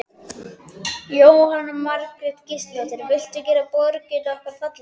Jóhanna Margrét Gísladóttir: Viltu gera borgina okkar fallegri?